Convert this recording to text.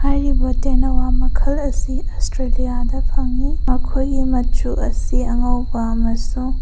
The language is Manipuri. ꯍꯥꯢꯔꯤꯕ ꯇꯦꯅꯋꯥ ꯃꯈꯜ ꯑꯁꯤ ꯑ꯭ꯁꯇ꯭ꯔꯦꯂꯤꯌꯥꯗ ꯐꯡꯉꯤ ꯃꯈꯣꯢꯒꯤ ꯃꯆꯨ ꯑꯁꯤ ꯑꯉꯧꯕ ꯑꯃꯁꯨꯡ --